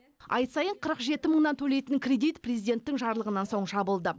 ай сайын қырық жеті мыңнан төлейтін кредит президенттің жарлығынан соң жабылды